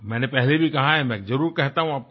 मैंने पहले भी कहा है मैं जरुर कहता हूँ आपको